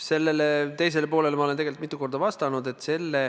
Sellele teisele poolele ma olen tegelikult mitu korda vastanud.